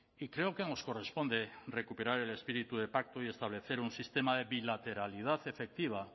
y creo que nos corresponde recuperar el espíritu de pacto y establecer un sistema de bilateralidad efectiva